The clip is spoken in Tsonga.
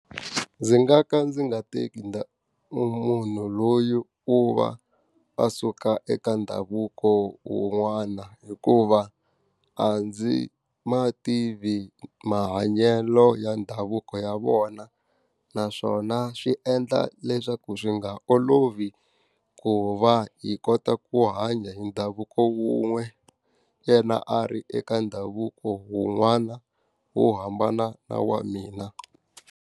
Ndzi nga ka ndzi nga teki munhu loyi u va a suka eka ndhavuko wun'wana hikuva, a ndzi ma tivi mahanyelo ya ndhavuko ya vona. Naswona swi endla leswaku swi nga olovi ku va hi kota ku hanya hi ndhavuko wun'we, yena a ri eka ndhavuko wun'wana wo hambana na wa mina.